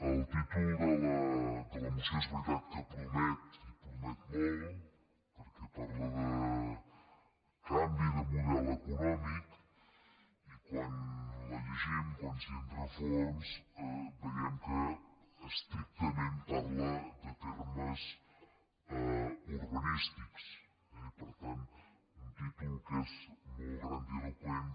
el títol de la moció és veri·tat que promet i promet molt perquè parla de canvi de model econòmic i quan la llegim quan s’hi entra a fons veiem que estrictament parla de termes urba·nístics eh i per tant un títol que és molt grandilo·qüent